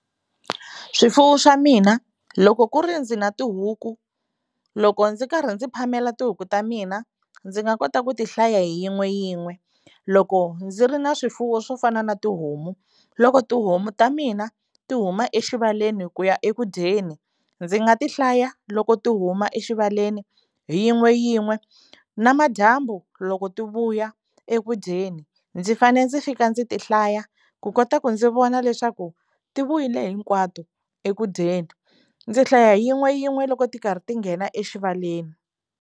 Swifuwo swa mina loko ku ri ndzi na tihuku loko ndzi karhi ndzi phamela tihuku ta mina ndzi nga kota ku ti hlaya hi yin'we yin'we loko ndzi ri na swifuwo swo fana na tihomu loko tihomu ta mina ti huma exivaleni ku ya eku dyeni ndzi nga ti hlaya loko ti huma exivaleni hi yin'we yin'we na madyambu loko ti vuya eku dyeni ndzi fane ndzi fika ndzi ti hlaya ku kota ku ndzi vona leswaku ti vuyile hinkwato eku dyeni ndzi hlaya hi yin'we yin'we loko ti karhi ti nghena exivaleni.